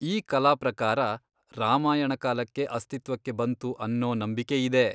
ಈ ಕಲಾ ಪ್ರಕಾರ ರಾಮಾಯಣ ಕಾಲಕ್ಕೆ ಅಸ್ತಿತ್ವಕ್ಕೆ ಬಂತು ಅನ್ನೂ ನಂಬಿಕೆ ಇದೆ.